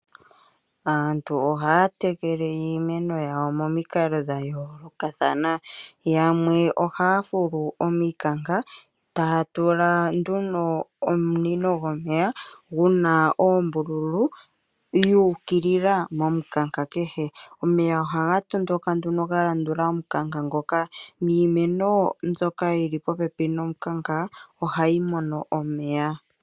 Aantu ohaya tekele iimeno yawo momikalo dha yolokathana. Yamwe ohaya fulu omikanka tatula nduno omunino gomeya guna ombululu dhukilila momukanka kehe omeya ohaga tondoka nduno galandula omukanka ngoka niimeno yili popepi nomukanka ohayi mono omeya.